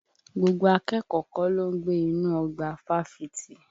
Gbogbo akẹ́kọ̀ọ́ kọ́ ló ń gbé inú ọgbà Fáfitì.